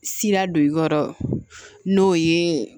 Sira don i kɔrɔ n'o ye